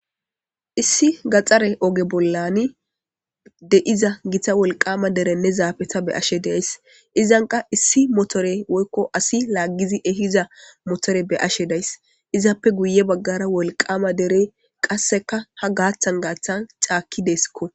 Issi gaxare oge bollan de'iza gita wolqama oge beyashe de'ays.izan kas issi asi laggiddi ehiza motore be'ashe daysi.izappe kase guye baggara wolqama derey ha gaththa gaththan de'etees.